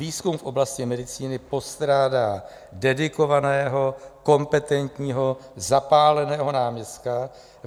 Výzkum v oblasti medicíny postrádá dedikovaného kompetentního zapáleného náměstka.